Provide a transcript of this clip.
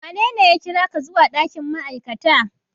Wanene ya kira ka zuwa ɗakin ma'aikata?